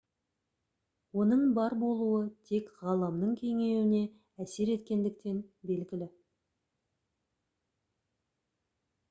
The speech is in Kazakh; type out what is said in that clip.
оның бар болуы тек ғаламның кеңеюіне әсер еткендіктен белгілі